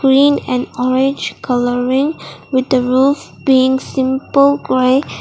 green and orange colouring with a roof being simple grey.